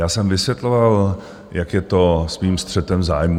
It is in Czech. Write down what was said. Já jsem vysvětloval, jak je to s mým střetem zájmů.